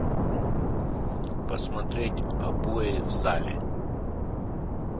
посмотреть обои в зале